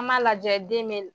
An m'a lajɛ den me n